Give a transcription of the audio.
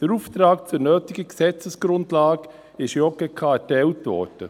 Der Auftrag für nötige Gesetzesgrundlagen wurde der JGK erteilt.